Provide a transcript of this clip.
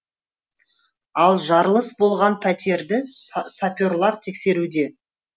ал жарылыс болған пәтерді саперлар тексеруде